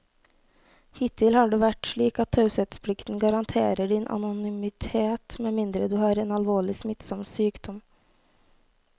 Hittil har det vært slik at taushetsplikten garanterer din anonymitet med mindre du har en alvorlig, smittsom sykdom.